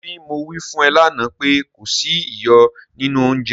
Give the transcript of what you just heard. ṣebí mo wí fún ẹ lánàá pé kò sí iyọ̀ nínú oúnjẹ?